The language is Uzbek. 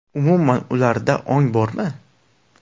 Umuman ularda ong bormi?